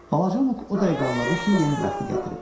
Balaca Muq o dəqiqə anladı ki, yenə bəxti gətirib.